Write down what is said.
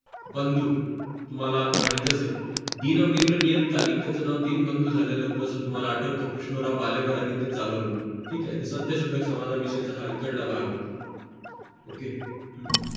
बंधू तुम्हाला माहित असेल दीनमित्र नियत कालिक त्याचं नाव दिन बंद झाले आहोत असं तुम्हाला आठवत कृष्णराव भालेकर आणि ते चालवलं ठीक आहे सत्यशोधक समाजाविषयीच्या इकडचा भाग होता ok हम्म